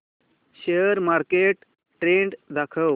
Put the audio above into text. share market trend दाखव